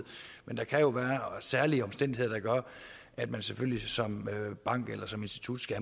der kan jo være særlige omstændigheder der gør at man selvfølgelig som bank eller som institut skal